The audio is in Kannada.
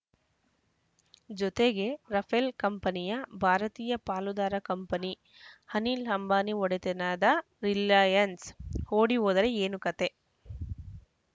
ಜೊತೆಗೆ ರಫೇಲ್‌ ಕಂಪನಿಯ ಭಾರತೀಯ ಪಾಲುದಾರ ಕಂಪನಿ ಅನಿಲ್‌ ಅಂಬಾನಿ ಒಡೆತನದ ರಿಲಯನ್ಸ್‌ ಓಡಿ ಹೋದರೆ ಏನು ಕಥೆ